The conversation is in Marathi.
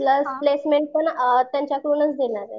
प्लस प्लेसमेंट पन त्यांच्याकडूनच देणारे.